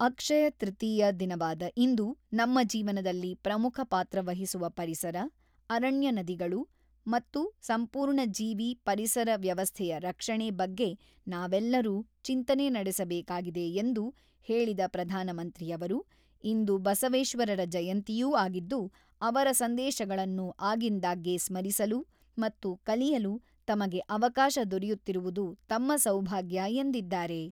ಅಕ್ಷಯಕೃತಿಯ ದಿನವಾದ ಇಂದು ನಮ್ಮ ಜೀವನದಲ್ಲಿ ಪ್ರಮುಖ ಪಾತ್ರ ವಹಿಸುವ ಪರಿಸರ, ಅರಣ್ಯ ನದಿಗಳು ಮತ್ತು ಸಂಪೂರ್ಣ ಜೀವಿ ಪರಿಸರ ವ್ಯವಸ್ಥೆಯ ರಕ್ಷಣೆ ಬಗ್ಗೆ ನಾವೆಲ್ಲರೂ ಚಿಂತನೆ ನಡೆಸಬೇಕಾಗಿದೆ ಎಂದು ಹೇಳಿದ ಪ್ರಧಾನಮಂತ್ರಿಯವರು ಇಂದು ಬಸವೇಶ್ವರರ ಜಯಂತಿಯೂ ಆಗಿದ್ದು, ಅವರ ಸಂದೇಶಗಳನ್ನು ಆಗಿಂದಾಗ್ಗೆ ಸ್ಮರಿಸಲು ಮತ್ತು ಕಲಿಯಲು ತಮಗೆ ಅವಕಾಶ ದೊರೆಯುತ್ತಿರುವುದು ತಮ್ಮ ಸೌಭಾಗ್ಯ ಎಂದಿದ್ದಾರೆ.